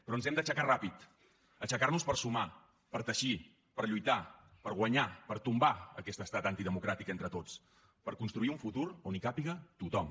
però ens hem d’aixecar ràpid aixecar nos per sumar per teixir per lluitar per guanyar per tombar aquest estat antidemocràtic entre tots per construir un futur on hi càpiga tothom